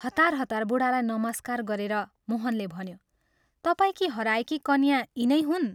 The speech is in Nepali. हतार हतार बूढालाई नमस्कार गरेर मोहनले भन्यो, "तपाईंकी हराएकी कन्या यिनै हुन्?